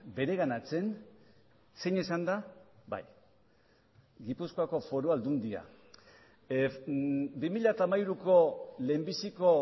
bereganatzen zein izan da bai gipuzkoako foru aldundia bi mila hamairuko lehenbiziko